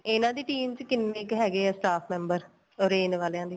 ਇਹਨਾ ਦੀ team ਚ ਕਿੰਨੇ ਹੈਗੇ ਏ staff member orange ਵਾਲਿਆ ਦੇ